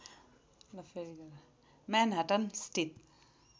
Manhattan स्थित